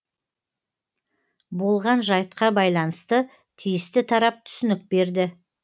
болған жайтқа байланысты тиісті тарап түсінік берді